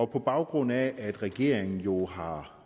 på baggrund af at regeringen jo har